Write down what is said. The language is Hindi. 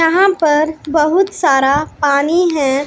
यहां पर बहुत सारा पानी हैं।